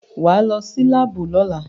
Wà á lọ sí láàbù lọ́la!